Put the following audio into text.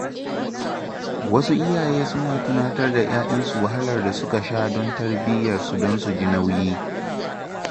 Wasu iyaye suna tunatar da ‘ya’yansu wahalar da suka sha don tarbiyyarsu don su ji nauyi.